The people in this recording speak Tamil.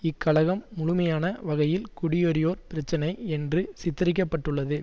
இக்கலகம் முழுமையான வகையில் குடியேறியோர் பிரச்சினை என்று சித்தரிக்கப்பட்டுள்ளது